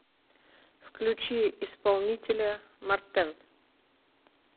включи исполнителя мортен